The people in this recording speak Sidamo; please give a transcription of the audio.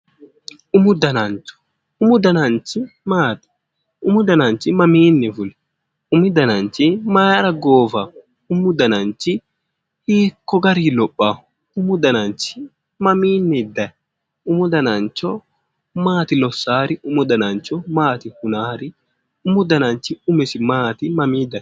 Umu dananchi maati umu dananchi mamiinni fuli umu dananchi Mayra goofawo umu dananchi hiikko garinni lophawo umu dananchi mamiinniy dayi umu dananchi maati lossaari maati hunaari umu danchi umisi mamii dayi